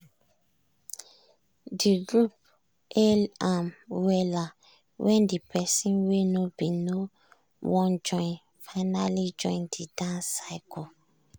de group hail am wella when de person wey no bin no wan join finally join the dance circle.